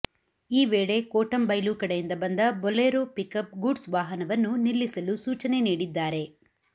ಈ ವೇಳೆ ಕೋಟಂಬೈಲು ಕಡೆಯಿಂದ ಬಂದ ಬೊಲೆರೋ ಪಿಕಪ್ ಗೂಡ್ಸ್ ವಾಹನವನ್ನು ನಿಲ್ಲಿಸಲು ಸೂಚನೆ ನೀಡಿದ್ದಾರೆ